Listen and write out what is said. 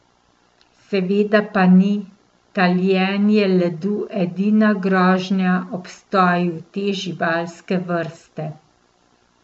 Seveda pa ni taljenje ledu edina grožnja obstoju te živalske vrste.